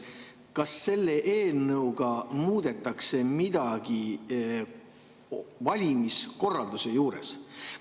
Kas selle eelnõuga muudetakse midagi valimiskorralduse juures?